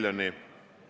Riho Breivel, palun!